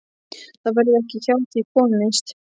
Það verður ekki hjá því komist.